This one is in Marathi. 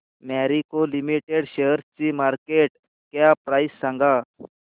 मॅरिको लिमिटेड शेअरची मार्केट कॅप प्राइस सांगा